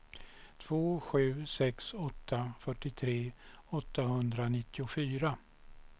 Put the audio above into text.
två sju sex åtta fyrtiotre åttahundranittiofyra